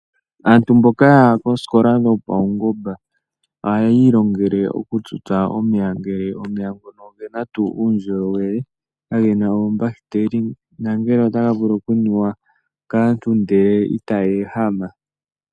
Aantu mboka yaya koosikola dhopaungomba ohaya ilongele oku tutsa omeya ngele ogena tuu uundjolowele ngele otaga vulu oku nuwa kaantu ihe itaya ehama.